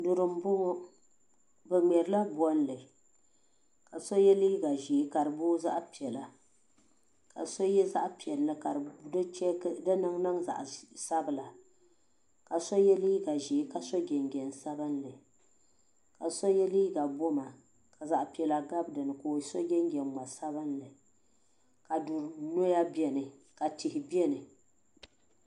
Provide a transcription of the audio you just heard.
Duri m boŋɔ bɛ ŋmɛri la bolli ka so ye liiga ʒee ka di boi zaɣa piɛla ka so ye zaɣa piɛlli ka di niŋ niŋ zaɣa sabla ka so ye liiga ʒee ka so jinjiɛm sabinli ka so ye liiga boma ka zaɣa piɛlla gabi dinni ka so jinjiɛm ŋma'sabinli ka du'noya biɛni ka tihi biɛni.